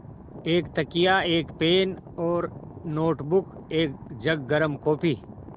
एक तकिया एक पेन और नोटबुक एक जग गर्म काफ़ी